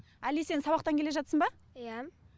әли сен сабақтан келе жатсың ба иә